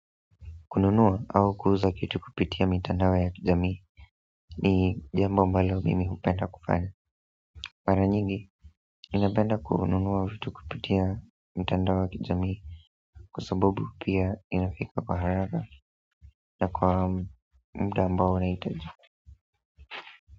Kununuwa au kuuza kitu kupitia mitandao ya kijamii ni jambo ambalo mimi hupenda kufanya. Maranyigi ninapenda kununuwa vitu kupitia mitandao ya kijamii kwa sababu pia inafika kwa haraka na kwa muda ambao unahitajika.